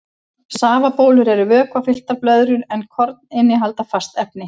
Safabólur eru vökvafylltar blöðrur en korn innihalda fast efni.